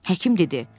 Həkim dedi.